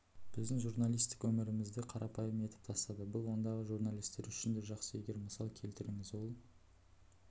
біздің журналистік өмірімізді қарапайым етіп тастады бұл ондағы журналистер үшін де жақсы егер мысал келтіріңіз ол